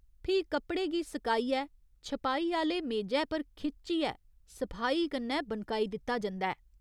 फ्ही कपड़े गी सकाइयै छपाई आह्‌ले मेजै पर खिच्चियै सफाई कन्नै बनकाई दित्ता जंदा ऐ।